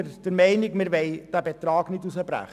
Wir wollen deshalb diesen Betrag nicht verringern.